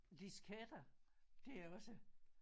Disketter det er også